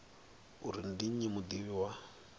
uri ndi nnyi mudivhi wa